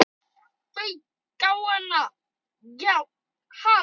Það fauk í hann.